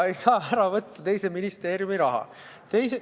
Ei saa ära võtta teise ministeeriumi raha.